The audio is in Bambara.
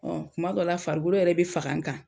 Ɔ kuma dɔw la farikolo yɛrɛ bi faga n kan